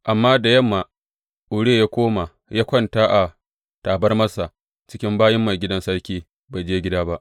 Amma da yamma Uriya ya koma ya kwanta a tabarmarsa cikin bayin maigidan sarki; bai je gida ba.